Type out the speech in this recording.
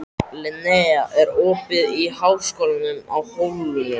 Linnea, er opið í Háskólanum á Hólum?